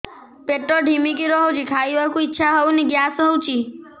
ପେଟ ଢିମିକି ରହୁଛି ଖାଇବାକୁ ଇଛା ହଉନି ଗ୍ୟାସ ହଉଚି